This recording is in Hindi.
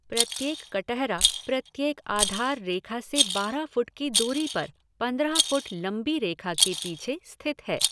प्रत्येक कटहरा प्रत्येक आधार रेखा से बारह फुट की दूरी पर, पंद्रह फुट लंबी रेखा के पीछे स्थित है।